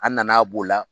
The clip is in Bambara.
An nana b'o la